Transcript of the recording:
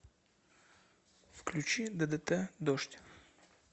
включи ддт дождь